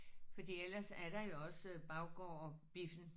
Fordi ellers er der jo også baggårdbiffen